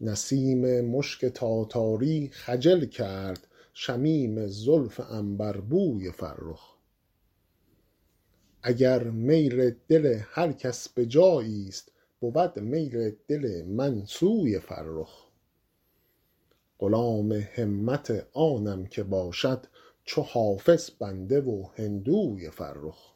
نسیم مشک تاتاری خجل کرد شمیم زلف عنبربوی فرخ اگر میل دل هر کس به جایی ست بود میل دل من سوی فرخ غلام همت آنم که باشد چو حافظ بنده و هندوی فرخ